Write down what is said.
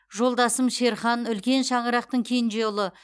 жолдасым шерхан үлкен шаңырақтың кенже ұлы